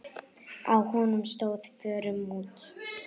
Á honum stóð: Fórum út!